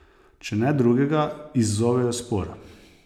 Če ne drugega, izzovejo spor.